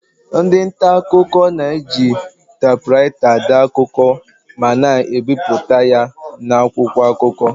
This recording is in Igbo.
Ndị nta akụkọ na-eji tapuraita dee akụkọ ma na-ebipụta ya n'akwụkwọ akụkọ.